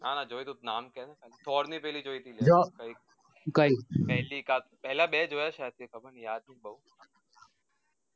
ના ના જોયું નામ કી ને thor ની પેલી જોઈ તી જો કઈ પહલી કા પેહલા બે જોયા છે